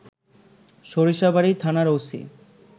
সরিষাবাড়ি থানার ওসি